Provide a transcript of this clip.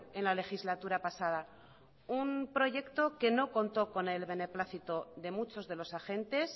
en la legislatura pasada un proyecto que no contó con el beneplácito de muchos de los agentes